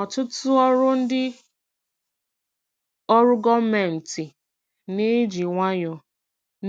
Ọtụtụ ndị ọrụ gọọmentị na-eji nwayọọ